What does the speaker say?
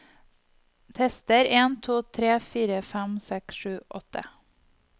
Tester en to tre fire fem seks sju åtte